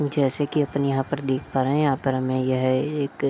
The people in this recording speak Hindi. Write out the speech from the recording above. जेसे कि अपन यहाँ पर देख पा रहें हैं। यहाँ पर हमे यह एक अ --